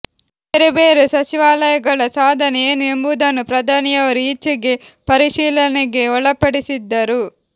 ಬೇರೆ ಬೇರೆ ಸಚಿವಾಲಯಗಳ ಸಾಧನೆ ಏನು ಎಂಬುದನ್ನು ಪ್ರಧಾನಿಯವರು ಈಚೆಗೆ ಪರಿಶೀಲನೆಗೆ ಒಳಪಡಿಸಿದ್ದರು